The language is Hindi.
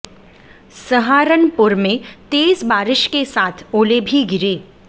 सहारनपुर में तेज बारिश के साथ ओले भी गिरे